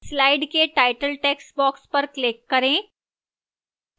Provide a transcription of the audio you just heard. slide के title textbox पर click करें